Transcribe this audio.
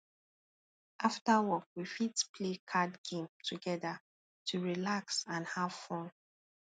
after work we fit play card game together to relax and have fun